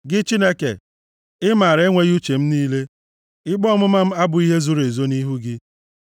Gị, Chineke, ị maara enweghị uche m niile; ikpe ọmụma m abụghị ihe zoro ezo nʼihu gị.